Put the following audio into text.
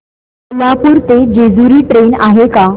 कोल्हापूर ते जेजुरी ट्रेन आहे का